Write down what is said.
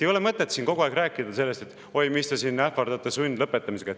Ei ole mõtet siin kogu aeg rääkida, et oi, mis te siin ähvardate sundlõpetamisega.